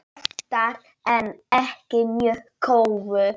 Oftar en ekki mjög góðu.